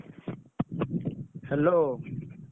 Hello.